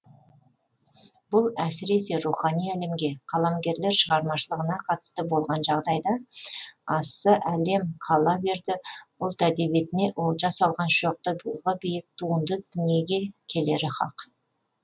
бұл әсіресе рухани әлемге қаламгерлер шығармашылығына қатысты болған жағдайда асса әлем қала берді ұлт әдебиетіне олжа салған шоқтығы биік туынды дүниеге келері хак